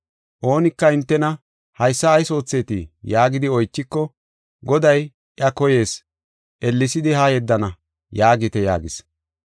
Oonika hintena, ‘Haysa ayis oothetii?’ yaagidi oychiko, ‘Goday iya koyees, ellesidi haa yeddana’ yaagite” yaagis.